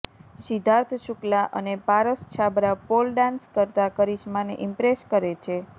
સિદ્ધાર્થ શુક્લા અને Paras Chhabra pole dance કરતાં કરિશ્માને ઇમ્પ્રેસ કરે છે